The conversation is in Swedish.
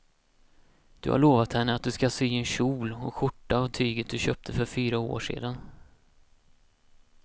Du har lovat henne att du ska sy en kjol och skjorta av tyget du köpte för fyra år sedan.